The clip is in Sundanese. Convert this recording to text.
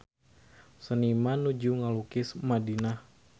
Seniman nuju ngalukis Madinah